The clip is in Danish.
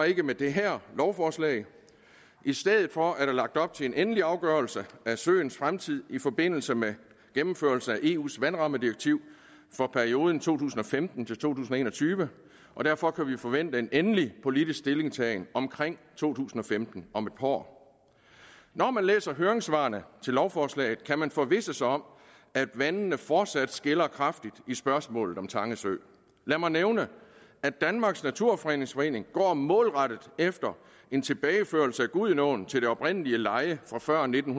ikke med det her lovforslag i stedet for er der lagt op til en endelig afgørelse af søens fremtid i forbindelse med gennemførelse af eus vandrammedirektiv for perioden to tusind og femten til en og tyve og derfor kan vi forvente en endelig politisk stillingtagen omkring to tusind og femten om et par år når man læser høringssvarene til lovforslaget kan man forvisse sig om at vandene fortsat skiller kraftigt i spørgsmålet om tange sø lad mig nævne at danmarks naturfredningsforening går målrettet efter en tilbageførelse af gudenåen til det oprindelige leje fra før nitten